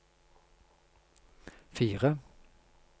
fire